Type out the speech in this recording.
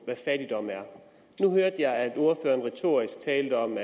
hvad fattigdom er nu hørte jeg at ordføreren retorisk talte om